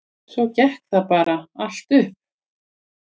Svo gekk það bara allt upp.